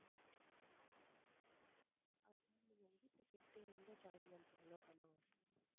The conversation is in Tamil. நீங்க உங்க வீட்ல கேட்டுட்டு எங்க join பண்றீங்களோ பண்ணுங்க